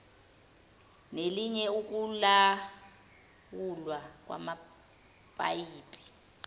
nelinye ukulawulwa kwamapayipi